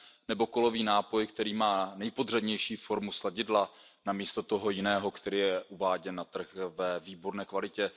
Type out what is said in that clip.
Nebo kolový nápoj, který má nejpodřadnější formu sladidla namísto toho jiného, který je uváděn na trh ve výborné kvalitě.